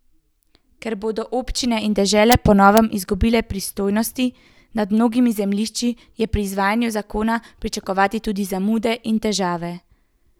Ker bodo občine in dežele po novem izgubile pristojnosti nad mnogimi zemljišči, je pri izvajanju zakona pričakovati tudi zamude in težave.